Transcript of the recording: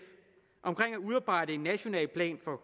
om at udarbejde en national plan for